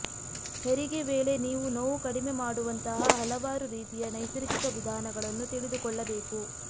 ಹೆರಿಗೆ ವೇಳೆ ನೀವು ನೋವು ಕಡಿಮೆ ಮಾಡುವಂತಹ ಹಲವಾರು ರೀತಿಯ ನೈಸರ್ಗಿಕ ವಿಧಾನಗಳನ್ನು ತಿಳಿದುಕೊಳ್ಳಬೇಕು